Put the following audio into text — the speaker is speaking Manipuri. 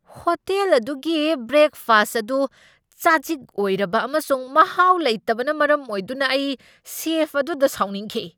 ꯍꯣꯇꯦꯜ ꯑꯗꯨꯒꯤ ꯕ꯭ꯔꯦꯛꯐꯥꯁꯠ ꯑꯗꯨ ꯆꯥꯖꯤꯛ ꯑꯣꯏꯔꯕ ꯑꯃꯁꯨꯡ ꯃꯍꯥꯎ ꯂꯩꯇꯕꯅ ꯃꯔꯝ ꯑꯣꯏꯗꯨꯅ ꯑꯩ ꯁꯦꯐ ꯑꯗꯨꯗ ꯁꯥꯎꯅꯤꯡꯈꯤ꯫